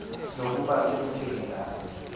nokuba sekutheni na